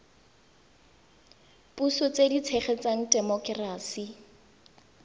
puso tse di tshegetsang temokerasi